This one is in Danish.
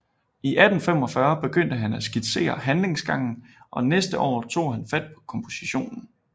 I 1845 begyndte han at skitsere handlingsgangen og næste år tog han fat på kompositionen